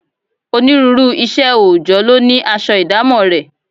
Onírúurú iṣẹ́ oòjọ́ ló ní aṣọ ìdámọ̀ rẹ̀